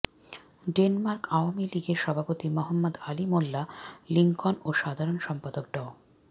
Denmark Awami লীগের সভাপতি মোহাম্মদ আলী মোল্লা লিংকন ও সাধারণ সম্পাদক ড